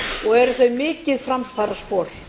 og eru þau mikið framfaraspor